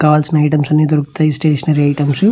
కావాల్సిన ఐటమ్స్ అన్ని దొరుకుతాయి స్టేషనరీ ఐటమ్స్ --